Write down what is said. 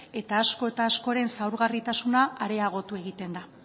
eta asko eta askoren zaurgarritasuna areagotu egiten da